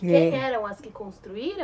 E quem eram as que construíram?